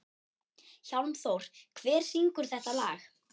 Hjálmþór, hver syngur þetta lag?